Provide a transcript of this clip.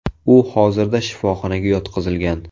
U hozirda shifoxonaga yotqizilgan.